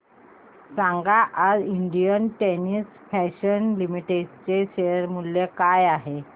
सांगा आज Indian terrain fashions limited चे शेअर मूल्य काय आहे